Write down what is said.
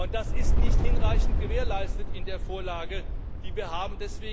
Das ist nicht hinreichend gewährleistet in der Vorlage, die wir haben.